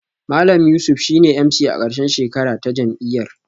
Malam Yusuf shine MC a karshen shekara ta jam'iyyar